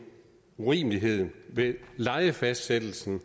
urimelighed ved lejefastsættelsen